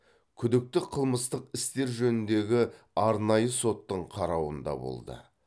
күдікті қылмыстық істер жөніндегі арнайы соттың қарауында болды